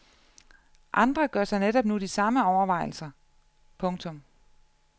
Andre gør sig netop nu de samme overvejelser. punktum